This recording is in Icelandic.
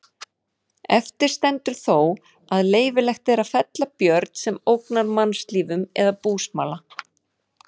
Eftir stendur þó að leyfilegt er að fella björn sem ógnar mannslífum eða búsmala.